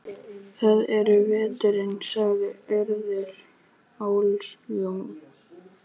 Það er veturinn- sagði Urður óljóst.